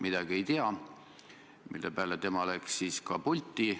See oli nüüd küll päris kummaline katse teemat mujale viia.